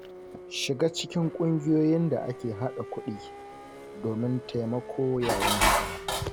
Shiga cikin ƙungiyoyin da ake haɗa kuɗi domin taimako yayin hidima.